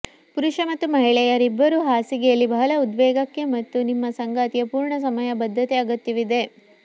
ಪುರುಷ ಮತ್ತು ಮಹಿಳೆಯರಿಬ್ಬರೂ ಹಾಸಿಗೆಯಲ್ಲಿ ಬಹಳ ಉದ್ವೇಗಕ್ಕೆ ಮತ್ತು ನಿಮ್ಮ ಸಂಗಾತಿ ಪೂರ್ಣ ಸಮಯ ಬದ್ಧತೆ ಅಗತ್ಯವಿದೆ